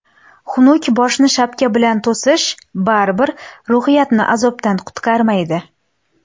Xunuk boshni shapka bilan to‘sish, baribir ruhiyatni azobdan qutqarmaydi.